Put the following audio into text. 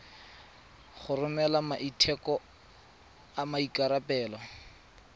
go romela maiteko a maikarebelo